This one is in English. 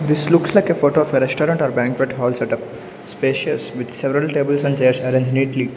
This looks like a photo of a restaurant or banquet hall setup spacious with several tables and chairs arrange neatly.